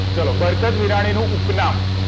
ચલો બરકત બીરા ણી નું ઉપનામ